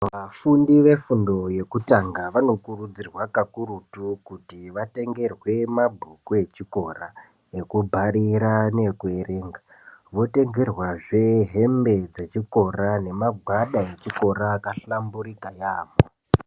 Vafundi ve fundo yekutanga vano kurudzirwa kakurutu kuti vatengerwe mabhuku echikora eku bharira neku erenga votengerwazve hembe dzechikora ne magwada echikora aka hlamburika yamho.